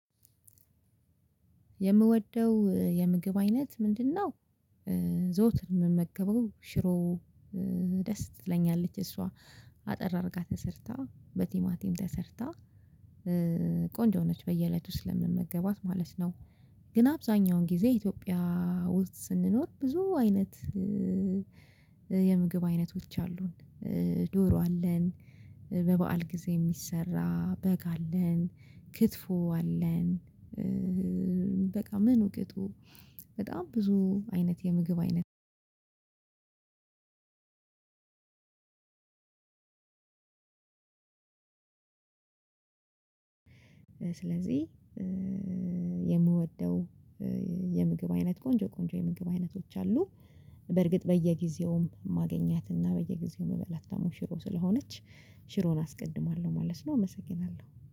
የምወደው የምግብ አይነት ምንድነው? ዘወትር የምመገበው ሽሮ። ደስ ትለኛለች እሷ አጠር አድርጋ ተሰርታ በቲማቲም ተሰርታ። ቆንጆ ነች በየእለቱ ስለምመገባት ማለት ነው። ግን አብዛኛውን ጊዜ ኢትዮጵያ ውስጥ ስንኖር ብዙ አይነት። የምግብ አይነቶች አሉን። ዶሮ አለን፣ በበዓል ጊዜ የሚሰራ በግ አለን፣ ክትፎ አለን በቃ ምኑ ቅጡ በጣም ብዙ አይነት የምግብ አይነት። ስለዚህ የምወደው የምግብ አይነት ቆንጆ ቆንጆ የምግብ አይነቶች አሉ። በርግጥ በየጊዜውም ማገኛት እና በየጊዜውም የምበላት ደሞ ሽሮ ስለሆነች ሽሮውን አስቀድማለሁ ማለት ነው። አመሰግናለሁ